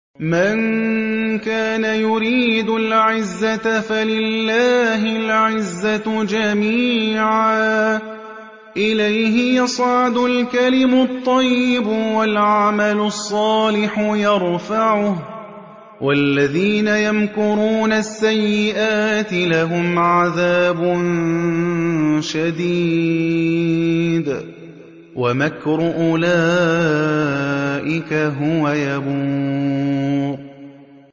مَن كَانَ يُرِيدُ الْعِزَّةَ فَلِلَّهِ الْعِزَّةُ جَمِيعًا ۚ إِلَيْهِ يَصْعَدُ الْكَلِمُ الطَّيِّبُ وَالْعَمَلُ الصَّالِحُ يَرْفَعُهُ ۚ وَالَّذِينَ يَمْكُرُونَ السَّيِّئَاتِ لَهُمْ عَذَابٌ شَدِيدٌ ۖ وَمَكْرُ أُولَٰئِكَ هُوَ يَبُورُ